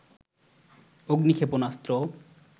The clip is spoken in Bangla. অগ্নি ক্ষেপণাস্ত্র